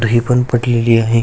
दही पण पडलेली आहे.